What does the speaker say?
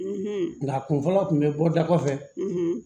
Nka kun fɔlɔ tun bɛ bɔ da kɔfɛ